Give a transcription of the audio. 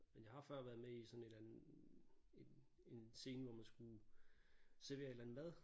Men jeg har før været med i sådan et eller andet en en scene hvor man skulle servere et eller andet mad